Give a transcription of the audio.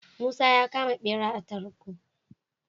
Musa ya kama bera a tarko